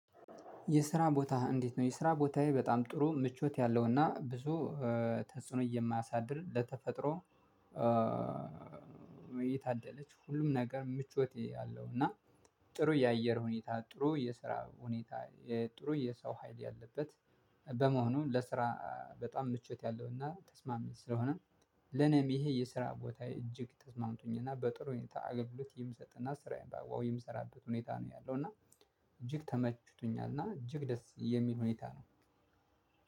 የስራ ቦታ እንዴት ነው የስራ ቦታዬ በጣም ጥሩ ምቾት ያለውና ብዙ ተጽዕኖ የማያሳድር ለተፈጥሮ። የታደለች ሁሉም ነገር ምቾት ያለው እና ጥሩ የአየር ሁኔታ ጥሩ የስራ ሁኔታ ጥሩ የሰው ሀይል ያለበት በመሆኑ ለስራ በጣም ምቾት ያለውና ተስማሚ ስለሆነ ለኔም ይሄ የስራ ቦታ እጅግ ተስማምቶኝና በጥሩ ሁኔታ አገብሎት የምሰጥና ስራዬን በአግባቡ የምሰራበት ሁኔታ ነው። ያለው እና እጅግ ተመቹቶኛልና እጅግ ደስ የሚል ሁኔታ ነው።